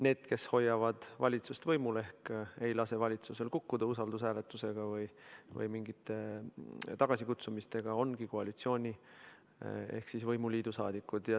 Need, kes hoiavad valitsust võimul ehk ei lase valitsusel kukkuda usaldushääletusega või mingite tagasikutsumistega, ongi koalitsiooni ehk siis võimuliidu saadikud.